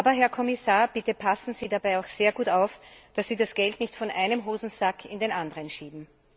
10 Aber, Herr Kommissar, bitte passen Sie dabei auch sehr gut auf, dass Sie das Geld nicht von einem Hosensack in den anderen schieben.